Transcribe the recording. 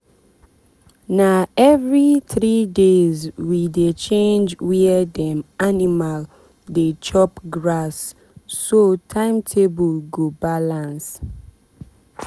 na every three days we dey change where dem animal dey chop grass so timetable go balance.